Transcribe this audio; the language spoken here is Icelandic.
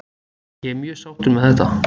Ég er mjög sáttur með þetta.